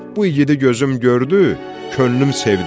Bu igidi gözüm gördü, könlüm sevdi.